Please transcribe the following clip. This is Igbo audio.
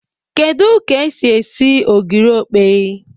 Kedu k'esi eri ogiri okpei